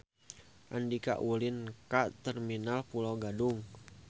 Andika ulin ka Terminal Pulo Gadung